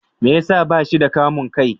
Me ya sa ba shi da kamun kai?